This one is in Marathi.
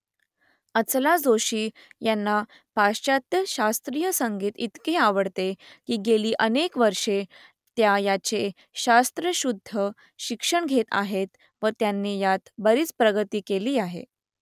अचला जोशी यांना पाश्चात्य शास्त्रीय संगीत इतके आवडते की गेली अनेक वर्षे त्या याचे शास्त्रशुद्ध शिक्षण घेत आहेत व त्यांनी यात बरीच प्रगती केली आहे